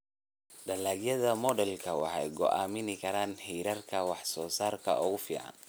Dalagyada moodelku waxay go'aamin karaan heerarka wax soo saarka ugu fiican.